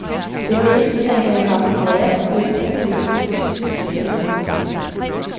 De menes at have haft nære forbindelser til det østtyske sikkerhedspoliti.